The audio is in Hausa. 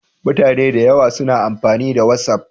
Mutane da yawa suna amfani da Watsaf